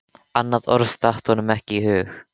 Annað orð datt honum ekki í hug.